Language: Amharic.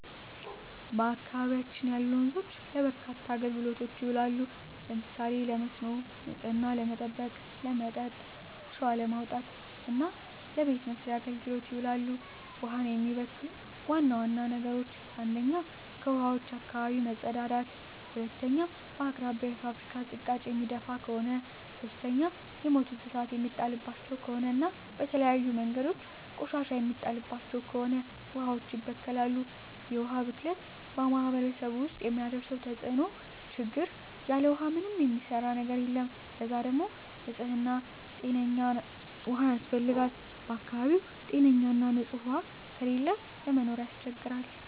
በአካባቢያችን ያሉ ወንዞች ለበርካታ አገልግሎቶች ይውላሉ። ለምሳሌ ለመስኖ፣ ንጽህናን ለመጠበቅ፣ ለመጠጥ፣ አሸዋ ለማውጣት እና ለበቤት መሥርያ አገልግሎት ይውላሉ። ውሀን የሚበክሉ ዋና ዋና ነገሮች 1ኛ ከውሀዋች አካባቢ መጸዳዳት መጸዳዳት 2ኛ በአቅራቢያው የፋብሪካ ዝቃጭ የሚደፍ ከሆነ ከሆነ 3ኛ የሞቱ እንስሳት የሚጣልባቸው ከሆነ እና በተለያዩ መንገዶች ቆሻሻ የሚጣልባቸው ከሆነ ውሀዋች ይበከላሉ። የውሀ ብክለት በማህረሰቡ ውስጥ የሚያደርሰው ተጽዕኖ (ችግር) ያለ ውሃ ምንም የሚሰራ ነገር የለም ለዛ ደግሞ ንጽህና ጤነኛ ውሃ ያስፈልጋል በአካባቢው ጤነኛ ና ንጽህ ውሃ ከሌለ ለመኖር ያስቸግራል።